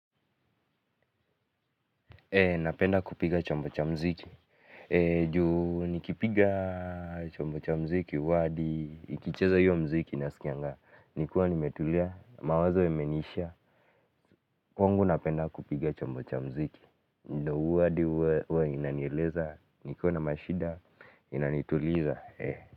Napenda kupiga chombo cha mziki, juu nikipiga chombo cha mziki, ama hadi, nikicheza hiyo mziki nasikianga, nikiwa nimetulia, mawazo yameniisha, kwangu napenda kupiga chombo cha mziki, ndo huwa hadi huwa inanieleza, nikiwa na mashida, inanituliza.